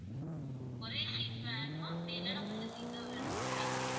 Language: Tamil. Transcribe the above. ஒரே seat வேணுமா அப்படி இல்லேன்னா மூணு seat தான் வேணுமா அப்படின்னு கேக்கணும்